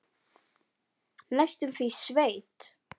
Næstum því sveit.